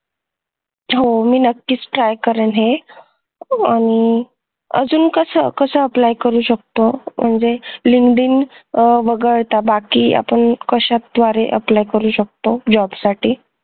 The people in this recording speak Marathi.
हो मी नक्कीच try करेन हे आणि अजून कसं कसं apply करू शकतो म्हणजे Linkdin आह बघायता बाकी आपण कश्या द्वारे apply करू शकतो job साठी